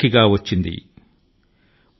దైవ కృప కు ఎప్పుడైనా అడ్డు ఉందా